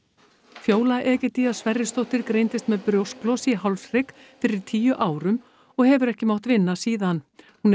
Fjóla Egedía Sverrisdóttir greindist með brjósklos í hálshrygg fyrir tíu árum og hefur ekki mátt vinna síðan hún er